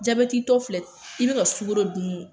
Jabɛtitɔ filɛ i bɛ ka sukoro dun